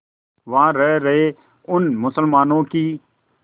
वहां रह रहे उन मुसलमानों की